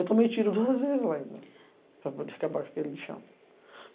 Eu tomei tiro duas vezes lá ainda, para poder acabar com aquele lixão.